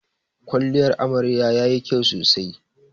Kwalliyan amaryar yayi kyau sosai.